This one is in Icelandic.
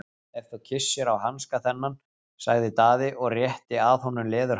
Ef þú kyssir á hanska þennan, sagði Daði og rétti að honum leðurhanska.